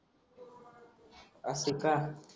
असे का